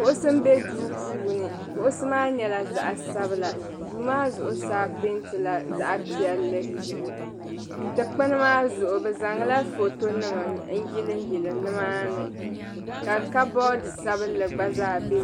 kuɣisi n be duu puuni, kuɣisi maa nyɛla zaɣisabinli, duu maa zuɣu saa pɛɛntila zaɣi piɛli, dikpuni maa zuɣu bɛ zaŋla fɔto nima n yiliyili ni maa ni. ka kabod sabinli gba zaa be